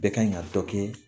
Bɛɛ kan ka dɔ kɛ